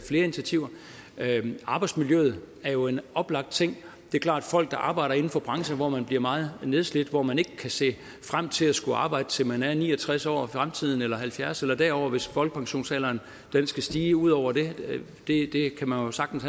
flere initiativer arbejdsmiljøet er jo en oplagt ting det er klart at folk der arbejder inden for brancher hvor man bliver meget nedslidt hvor man ikke kan se frem til at skulle arbejde til man er ni og tres år i fremtiden eller halvfjerds år eller derover hvis folkepensionsalderen skal stige ud over det det kan man sagtens